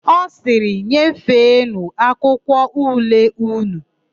Ọ sịrị, "nyefeenụ akwụkwọ ule ụnụ"!